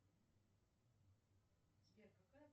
сбер какая